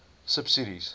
subsidies